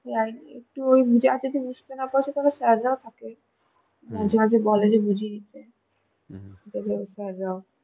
একটু ওই যা কিছু বুঝতে না পারছ তাহলে sir রাও থাকে মাঝে মাঝে বলে যে বুঝিয়ে দিতে